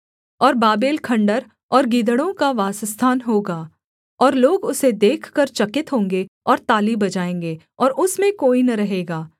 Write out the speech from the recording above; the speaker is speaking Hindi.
और बाबेल खण्डहर और गीदड़ों का वासस्थान होगा और लोग उसे देखकर चकित होंगे और ताली बजाएँगे और उसमें कोई न रहेगा